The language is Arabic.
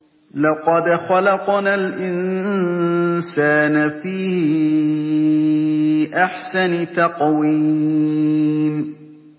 لَقَدْ خَلَقْنَا الْإِنسَانَ فِي أَحْسَنِ تَقْوِيمٍ